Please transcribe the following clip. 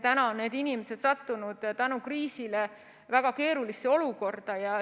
Need inimesed on sattunud kriisi tõttu väga keerulisse olukorda.